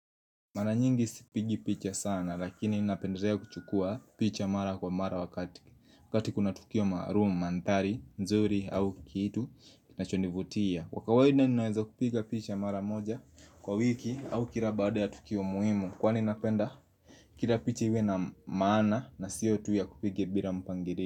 Mara nyingi sipigi picha sana lakini napendelea kuchukua picha mara kwa mara wakati kuna tukio maarumu, manthari, nzuri au kitu Kinachonivutia kwa kawaida ninaweza kupiga picha mara moja kwa wiki au kila baada ya tukio muhimu Kwani napenda kila picha iwe na maana na siyo tu ya kupiga bila mpangirio.